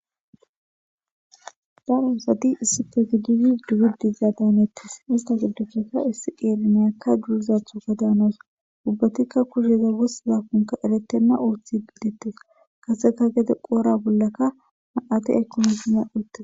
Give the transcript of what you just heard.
daro sati issi pe gididi dugiddiza daaneettes ista giddufeka issi qeelemeyakka durizathu ga daanos ubbatikka kusheza wossiza kunka erettenna uoththi gidette kaseka gede qoora bollaka ma7ate ekonosina uottes